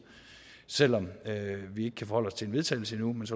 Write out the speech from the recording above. selv om vi ikke kan forholde os til vedtagelse endnu